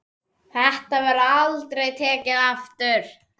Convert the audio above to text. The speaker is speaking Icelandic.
Þetta verður aldrei tekið aftur.